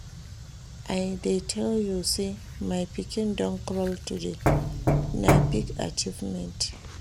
I dey tell you sey my pikin don crawl today, na big achievement!